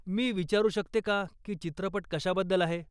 मी विचारू शकते का की चित्रपट कशाबद्दल आहे?